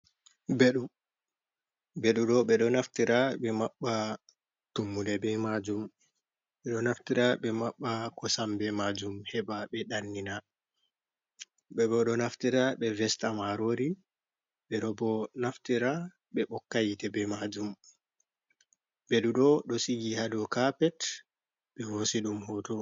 Mbeɗu, mbeɗu ɗo ɓe ɗo naftira ɓe maɓɓa tummuɗe be maajum, ɓe ɗo naftira ɓe maɓɓa kosam be maajum heɓa ɓe ɗannina, ɓe ɓo ɗo naftira ɓe vesta maarori, ɓe ɗo bo naftira ɓe ɓokka hiite be maajum, mbeɗu ɗo, ɗo sigi ha dow kapet ɓe hosi ɗum hooto.